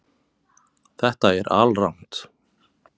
Þetta er alrangt